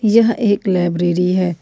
यह एक लाइब्रेरी है।